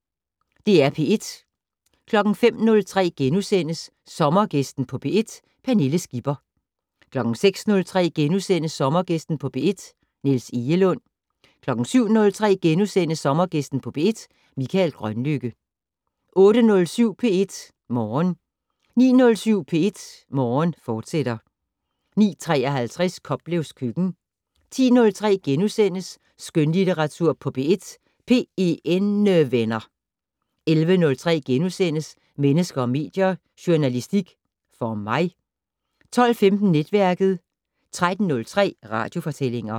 05:03: Sommergæsten på P1: Pernille Skipper * 06:03: Sommergæsten på P1: Niels Egelund * 07:03: Sommergæsten på P1: Mikael Grønlykke * 08:07: P1 Morgen 09:07: P1 Morgen, fortsat 09:53: Koplevs køkken 10:03: Skønlitteratur på P1: PENnevenner * 11:03: Mennesker og medier: Journalistik - for mig? * 12:15: Netværket 13:03: Radiofortællinger